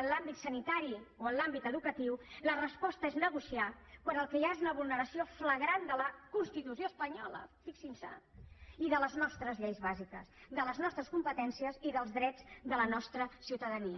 en l’àmbit sanitari o en l’àmbit educatiu la resposta és negociar quan el que hi ha és una vulneració flagrant de la constitució espanyola fixin se i de les nostres lleis bàsiques de les nostres competències i dels drets de la nostra ciutadania